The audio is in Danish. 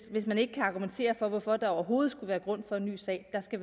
hvis man ikke kan argumentere for hvorfor der overhovedet skulle være grund for en ny sag skal